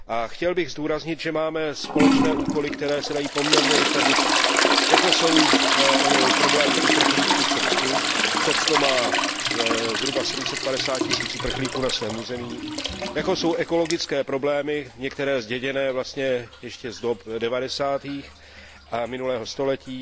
Chtěl bych zdůraznit, že máme společné úkoly, které se dají poměrně rychle řešit, jako jsou problémy uprchlíků v Srbsku Srbsko má na svém území zhruba 750 tisíc uprchlíků jako jsou ekologické problémy, některé zděděné vlastně ještě z let devadesátých minulého století,